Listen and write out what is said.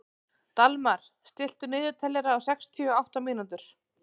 Dalmar, stilltu niðurteljara á sextíu og átta mínútur.